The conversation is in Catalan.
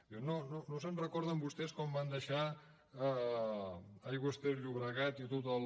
diu no se’n recorden vostès com van deixar aigües ter llobregat i tot el